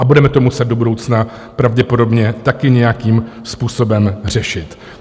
A budeme to muset do budoucna pravděpodobně taky nějakým způsobem řešit.